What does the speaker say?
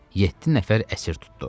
Yeddi nəfər əsir tutdu.